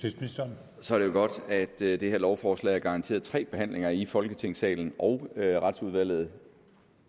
så er det jo godt at det det her lovforslag er garanteret tre behandlinger i folketingssalen og at retsudvalget